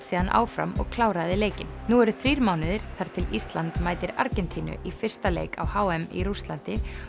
síðan áfram og kláraði leikinn nú eru þrír mánuðir þar til Ísland mætir Argentínu í fyrsta leik á h m í Rússlandi